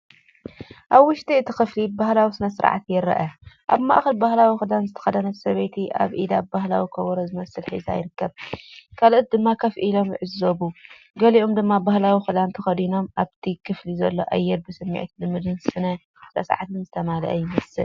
ኣብ ውሽጢ እቲ ክፍሊ ባህላዊ ስነ-ስርዓት ይርአ። ኣብ ማእከል ባህላዊ ክዳን ዝተኸድነት ሰበይቲ ኣብ ኢዱ ባህላዊ ከበሮ ዝመስል ሒዛ ይርከብ። ካልኦት ድማ ኮፍ ኢሎም ይዕዘቡ፡ገሊኦም ድማ ባህላዊ ክዳን ተኸዲኖም። ኣብቲ ክፍሊ ዘሎ ኣየር ብስምዒት ልምድን ስነ-ስርዓትን ዝተመልአ ይመስል።